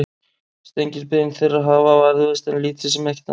steingerð bein þeirra hafa varðveist en lítið sem ekkert annað